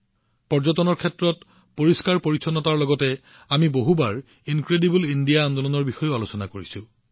পৰ্যটনৰ ক্ষেত্ৰত পৰিষ্কাৰপৰিচ্ছন্নতাৰ লগতে আমি প্ৰায়ে অতুলনীয় ভাৰত আন্দোলনৰ বিষয়েও আলোচনা কৰিছো